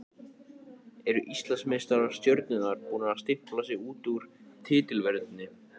Eru Íslandsmeistarar Stjörnunnar búnir að stimpla sig út úr titilvörninni?